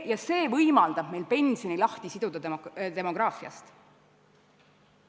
Ja see võimaldab meil pensioni demograafia ahela küljest lahti siduda.